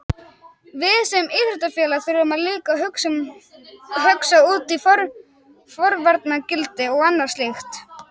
Við sem íþróttafélag þurfum líka að hugsa út í forvarnargildi og annað slíkt.